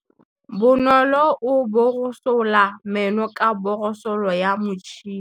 Bonolô o borosola meno ka borosolo ya motšhine.